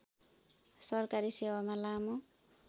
सरकारी सेवामा लामो